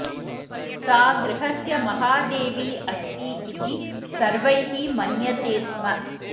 सा गृहस्य महादेवी अस्ति इति सर्वैः मन्यते स्म